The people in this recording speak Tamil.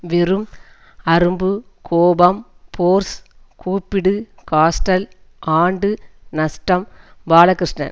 வெறும் அரும்பு கோபம் ஃபோர்ஸ் கூப்பிடு ஹாஸ்டல் ஆண்டு நஷ்டம் பாலகிருஷ்ணன்